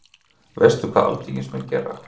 Veistu hvað alþingismenn gera?